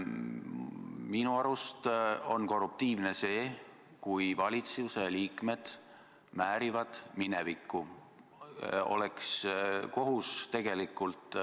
Minu arust on korruptiivne see, kui valitsuse liikmed määrivad minevikku.